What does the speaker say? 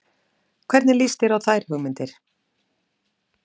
Hvernig líst þér á þær hugmyndir?